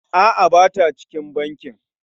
A'a, ba ta cikin bankin.